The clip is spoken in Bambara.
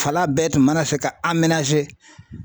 Fala bɛɛ tun mana fɛ ka